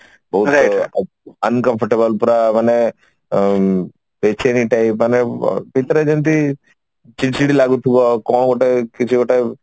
ବହୁତ ମାନେ uncomfortable ଲାଗେ ପୁରା ମାନେ ବେଚେନି type ମାନେ ଭିତରେ ଯେମିତି ଚିଡଚିଡ ଲାଗୁଥିବା କଣ ଗୋଟେ କିଛି ଗୋଟେ